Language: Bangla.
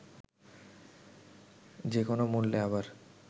যে কোনো মূল্যে আবার